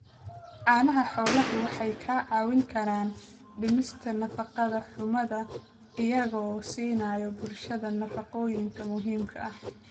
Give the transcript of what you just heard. Caanaha xooluhu waxay kaa caawin karaan dhimista nafaqo-xumada iyagoo siinaya bulshada nafaqooyinka muhiimka ah.